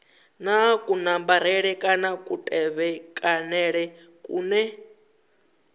na kunambarele kana kutevhekanele kune